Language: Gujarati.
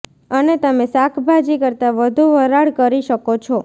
અને તમે શાકભાજી કરતાં વધુ વરાળ કરી શકો છો